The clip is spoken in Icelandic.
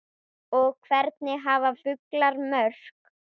og Hvernig hafa fuglar mök?